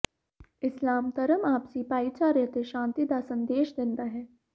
ਇਸਲਾਮ ਧਰਮ ਆਪਸੀ ਭਾਈਚਾਰੇ ਅਤੇ ਸ਼ਾਂਤੀ ਦਾ ਸੰਦੇਸ਼ ਦਿੰਦਾ ਹੈ